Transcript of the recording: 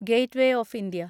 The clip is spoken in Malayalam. gateway of India